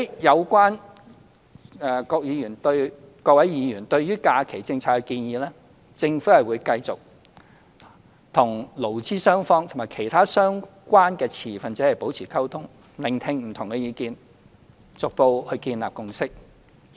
有關各位議員對於假期政策的建議，政府會繼續與勞資雙方和其他相關的持份者保持溝通，聆聽不同的意見，逐步建立共識。